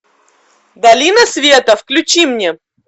долина света включи мне